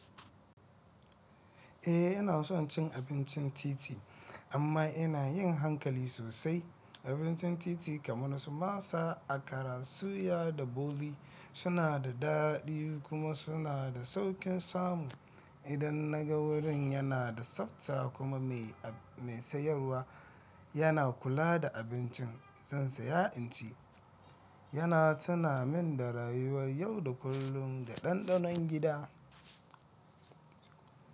Eh ina son cin abincin titi amma ina yin hankali sosai. Abincin titi kamar su masa, akara, suya da boli suna da daɗi kuma suna da sauƙin samu. Idan naga wurin yana da tsafta kuma mai sayarwa yana kula da abincin, zan saya inci. Yana tuna min da rayuwar yau da kullum da ɗanɗanon gida.